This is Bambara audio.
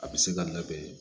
A bɛ se ka labɛn